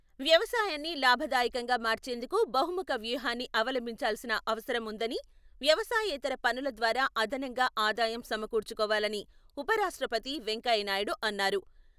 వ్యవసాయాన్ని లాభదాయకంగా మార్చేందుకు బహుముఖ వ్యూహాన్ని అవలంభించాల్సిన అవసరం ఉందని, వ్యవసాయేతర పనుల ద్వారా అదనంగా ఆదాయం సమకూర్చుకోవాలని ఉపరాష్ట్రపతి వెంకయ్యనాయుడు అన్నారు.